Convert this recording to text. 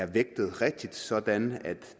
vægtet sådan at